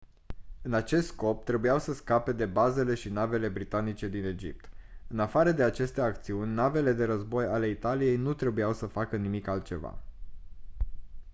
în acest scop trebuiau să scape de bazele și navele britanice din egipt în afară de aceste acțiuni navele de război ale italiei nu trebuiau să facă nimic altceva